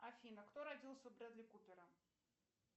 афина кто родился у брэдли купера